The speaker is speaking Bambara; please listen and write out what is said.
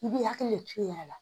I b'i hakili de turu i yɛrɛ la